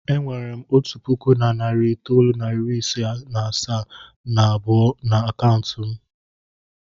E nwere m otu puku na narị itoolu na iri asaa na abụọ n'akaụntụ m.